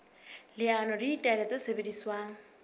leano le ditaelo tse sebediswang